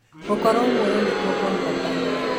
Gũkorwo muoyo nĩkuo gwa bata.